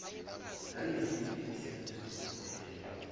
ngayisiphi isenzo esinomphumela